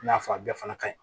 I n'a fɔ a bɛɛ fana ka ɲi